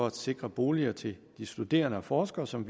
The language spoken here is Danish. at sikre boliger til de studerende og forskere som